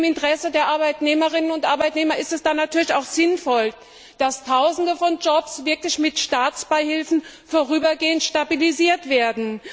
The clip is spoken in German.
Im Interesse der Arbeitnehmerinnen und Arbeitnehmer ist es dann natürlich auch sinnvoll, dass tausende von Jobs wirklich mit Staatsbeihilfen vorübergehend stabilisiert werden.